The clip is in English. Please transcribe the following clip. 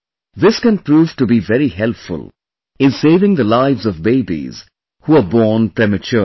This can prove to be very helpful in saving the lives of babies who are born prematurely